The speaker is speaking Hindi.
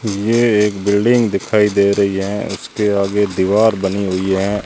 ये एक बिल्डिंग दिखाई दे रही है उसके आगे दीवार बनी हुई है।